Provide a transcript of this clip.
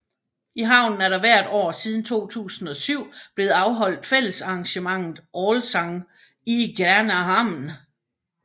I havnen er der hvert år siden 2007 blevet afholdt fællessangsarrangementet Allsång i Gränna hamn